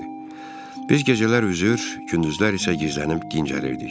Biz gecələr üzür, gündüzlər isə gizlənib dincəlirdik.